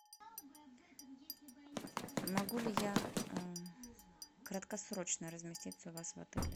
могу ли я краткосрочно разместиться у вас в отеле